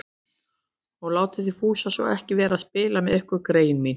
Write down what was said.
Og látið þið Fúsa svo ekki vera að spila með ykkur, greyin mín